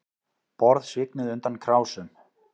Borð svignuðu undan krásum